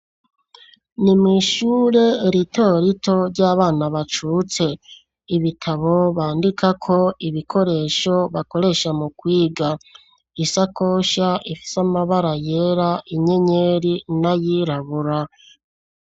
Ni mw'ishure ritorito ry'abana bacutse, ibitabo bandikako ibikoresho bakoresha mu kwiga, isakoshi ifise amabara yera inyenyeri n'ayirabura.